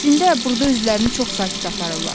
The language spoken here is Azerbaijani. Əslində burda özlərini çox sakit aparırlar.